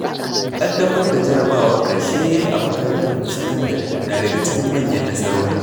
Ƙaddamar da jarrabawar ƙarshe a makarantar sakandare na daga cikin manyan nasarori.